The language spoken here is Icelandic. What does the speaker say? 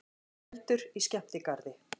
Eldur í skemmtigarði